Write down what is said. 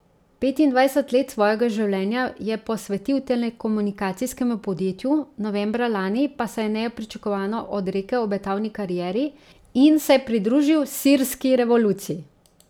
Petindvajset let svojega življenja je posvetil telekomunikacijskemu podjetju, novembra lani pa se je nepričakovano odrekel obetavni karieri in se pridružil sirski revoluciji.